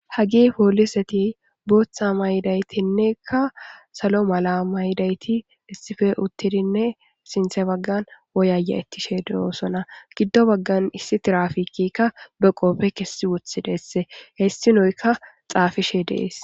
Hagi pooliseti booththa maydaytinnekka salo mala maydayti issife uttidinne sinthe baggan woyaya ittishe deosona giddo baggan issi tirafikikka be qopfe kessi wothi deesse hessi noykka xaafishe dees.